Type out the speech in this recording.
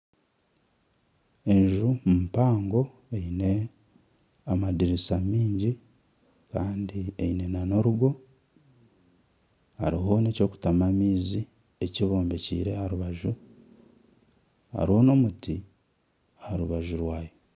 Enju mpango eine amadiriisa maingi kandi eine n'orugo hariho n'eky'okutamu amaizi ekimbobekire aha rubaju hariho n'omwishiki aha rubaju rwayo.